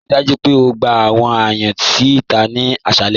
Ríí dájú pé ó gbà àwọn ayàn si íta ni àṣàlẹ̀.